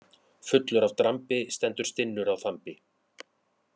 Fullur af drambi stendur stinnur á þambi.